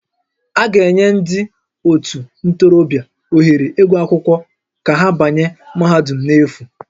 A ga-enye ndị ótù ntorobịa ohere ịgụ akwụkwọ ka ha banye mahadum n'efu